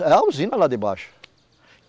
É a usina lá de baixo.